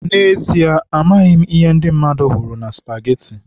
N'ezie, amaghị m ihe ndị mmadụ hụrụ na spageti.